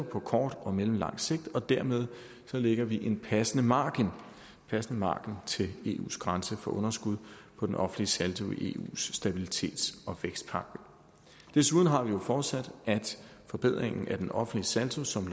på kort og mellemlang sigt og dermed lægger vi en passende margen passende margen til eus grænse for underskud på den offentlige saldo i eus stabilitets og vækstpagt desuden har vi jo forudsat at forbedringen af den offentlige saldo som